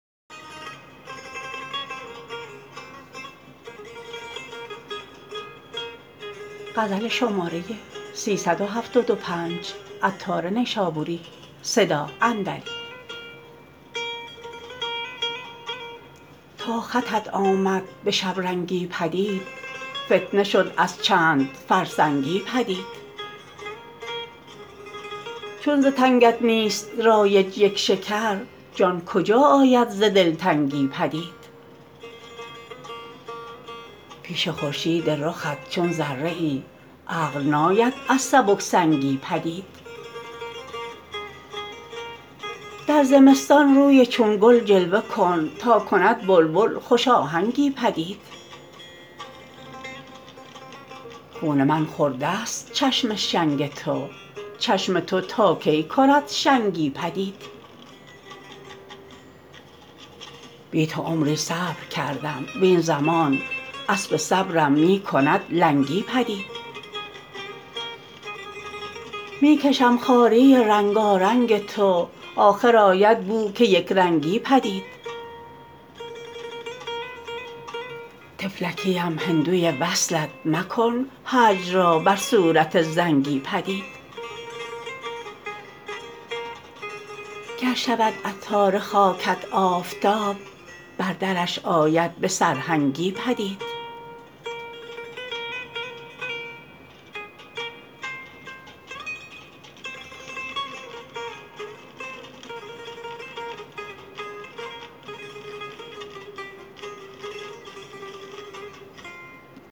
تا خطت آمد به شبرنگی پدید فتنه شد از چند فرسنگی پدید چون ز تنگت نیست رایج یک شکر جان کجا آید ز دلتنگی پدید پیش خورشید رخت چون ذره ای عقل ناید از سبک سنگی پدید در زمستان روی چون گل جلوه کن تا کند بلبل خوش آهنگی پدید خون من خوردست چشم شنگ تو چشم تو تا کی کند شنگی پدید بی تو عمری صبر کردم وین زمان اسب صبرم می کند لنگی پدید می کشم خواری رنگارنگ تو آخر آید بو که یک رنگی پدید طفلکی ام هندوی وصلت مکن هجر را بر صورت زنگی پدید گر شود عطار خاکت آفتاب بر درش آید به سرهنگی پدید